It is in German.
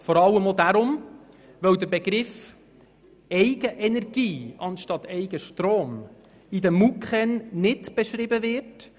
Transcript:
Dies vor allem deshalb, weil der Begriff «Eigenenergie» anstatt «Eigenstrom» in den MuKEn 2014 nicht beschrieben wird.